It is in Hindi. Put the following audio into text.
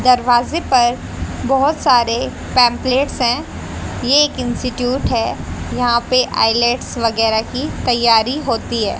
दरवाजे पर बहोत सारे पेंपलेट हैं। ये एक इंस्टीट्यूट है। यहां पे आई_एस वगैरह की तैयारी होती है।